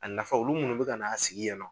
A nafa olu munnu bɛ ka n'a sigi yan nɔ